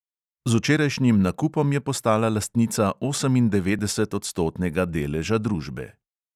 Z včerajšnjim nakupom je postala lastnica osemindevetdesetodstotnega deleža družbe.